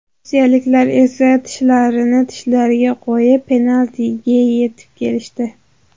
Rossiyaliklar esa tishlarini tishlariga qo‘yib, penaltigacha etib kelishdi.